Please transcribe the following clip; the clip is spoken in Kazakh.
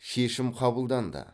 шешім қабылданды